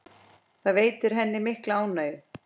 Það veitti henni mikla ánægju.